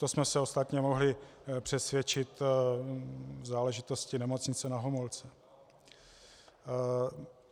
To jsme se ostatně mohli přesvědčit v záležitosti Nemocnice Na Homolce.